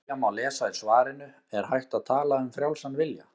Um frjálsan vilja má lesa í svarinu Er hægt að tala um frjálsan vilja?